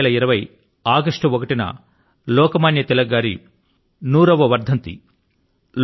2020 ఆగష్టు 1వ తేదీ న లోక మాన్య తిలక్ గారి 100 వ వర్ధంతి